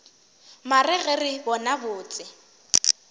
mare ge re bona botse